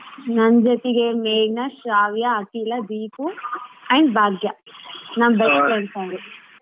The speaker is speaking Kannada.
ನನ್ನ್ ಜೊತಿಗೆ ಮೇಘನಾ, ಶ್ರಾವ್ಯ, ಅಖಿಲಾ, ದೀಪು and ಭಾಗ್ಯ ನನ್ ಅವ್ರು.